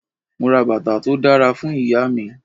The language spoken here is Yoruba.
Mo ra bàtà tó dára fún Ìyá mi.